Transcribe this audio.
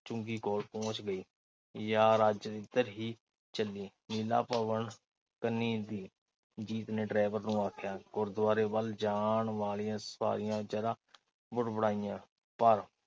ਚੁੰਗੀ ਕੋਲ ਪਹੁੰਚ ਗਈ। ਯਾਰ ਅੱਜ ਇਧਰ ਦੀ ਚੱਲੀ। ਲੀਲਾ ਭਵਨ ਕਨੀਂ ਦੀ। ਜੀਤ ਨੇ ਡਰਾਇਵਰ ਨੂੰ ਆਖਿਆ। ਗੁਰਦੁਆਰੇ ਵੱਲ ਜਾਣਾ ਵਾਲੀਆਂ ਸਾਰੀਆਂ ਬੁੜਬੜਾਈਆਂ। ਪਰ